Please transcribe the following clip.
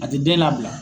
A tɛ den labila